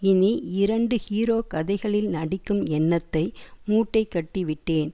இனி இரண்டு ஹீரோ கதைகளில் நடிக்கும் எண்ணத்தை மூட்டைகட்டி விட்டேன்